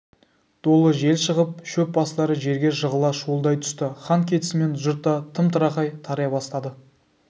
долы жел шығып шөп бастары жерге жығыла шуылдай түсті хан кетісімен жұрт та тым-тырақай тарай бастады